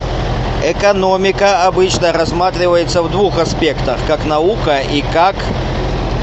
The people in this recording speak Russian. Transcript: экономика обычно рассматривается в двух аспектах как наука и как